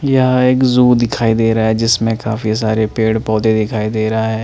यह एक जू दिखाई दे रहा है जिसमें काफी सारे पेड़ पौधे दिखाई दे रहा है।